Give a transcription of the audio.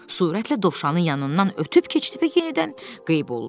Sürətlə Dovşanın yanından ötüb keçdi və yenidən qeyb oldu.